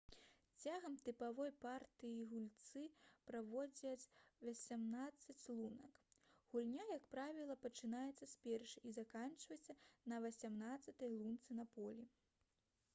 цягам тыповай партыі гульцы праходзяць васямнаццаць лунак гульня як правіла пачынаецца з першай і заканчваецца на васямнаццатай лунцы на полі